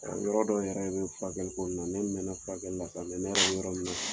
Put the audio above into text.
Ɔ yɔrɔ dɔw yɛrɛ bɛ ye furakɛli ko ni na ne mɛna furakɛli sa mɛ ne yɛrɛ bɛ yɔrɔ min na